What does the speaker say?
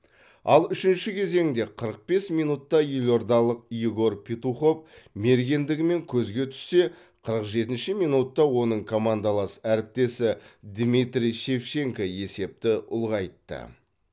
ал үшінші кезеңде қырық бес минутта елордалық егор петухов мергендігімен көзге түссе қырық жетінші минутта оның командалас әріптесі дмитрий шевченко есепті ұлғайтты